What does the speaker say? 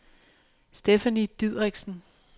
Stephanie Dideriksen